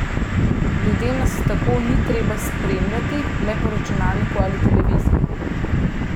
Ljudem nas tako ni treba spremljati le po računalniku ali televiziji.